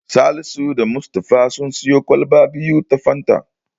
Salisu da Mustapha sun siyo kwalba biyu ta Fanta.